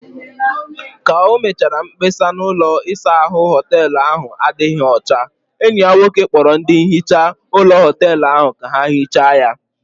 Ka o mechara mkpesa na ụlọ isa ahụ hoteelu ahụ adịghị ọcha, enyi ya nwoke kpọrọ ndị nhicha ụlọ hoteelu ahụ ka ha hichaa ya